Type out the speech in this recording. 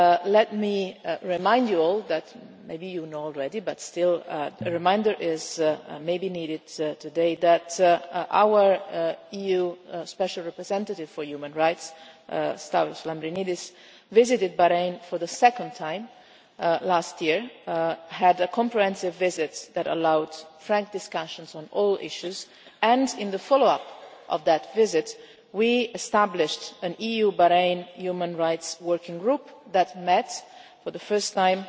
Let me remind you all maybe you know already, but still a reminder may be needed today that our EU Special Representative for Human Rights, Stavros Lambrinidis, visited Bahrain for the second time last year and had a comprehensive visit that allowed frank discussions on all issues and, in the follow up of that visit, we established an EU-Bahrain Human Rights working group, that met for the first time